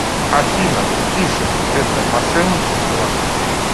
афина фишинг это мошенничество